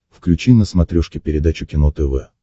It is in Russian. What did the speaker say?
включи на смотрешке передачу кино тв